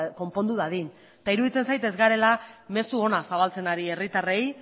konpondu dadin eta iruditzen zait ez garela mezu ona zabaltzen ari herritarrei